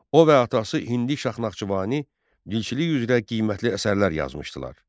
O və atası Hindi Şah Naxçıvani dilçilik üzrə qiymətli əsərlər yazmışdılar.